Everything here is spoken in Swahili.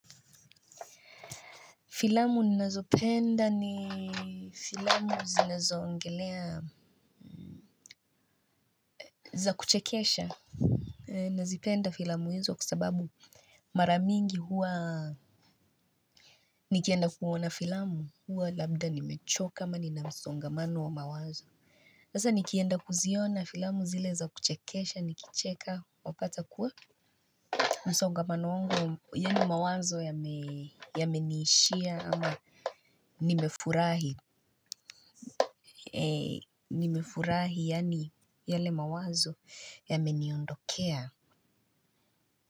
Filamu nazopenda ni filamu zile zoongelea za kuchekesha. Nazipenda filamu izo kuasababu maramingi huwa nikienda kuona filamu huwa labda nimechoka ama nina msongamano wa mawazo hasa nikienda kuziona filamu zile za kuchekesha nikicheka wapata kuwa masongamano wangu ya ni mawazo yamenishia ama nimefurahi yani yale mawazo ya meniondokea.